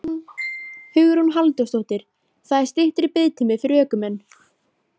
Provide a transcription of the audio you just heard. Hugrún Halldórsdóttir: Það er styttri biðtími fyrir ökumenn?